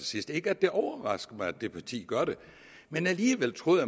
sidst ikke at det overrasker mig at det parti gør det men alligevel troede